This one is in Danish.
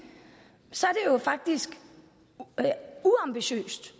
jo faktisk uambitiøst